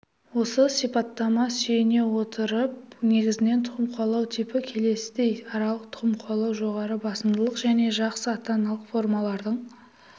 осы сипаттамаға сүйене отырып негізінен тұқым қуалау типі келесідей аралық тұқым қуалау жоғары басымдылық және жақсы ата-аналық формалардың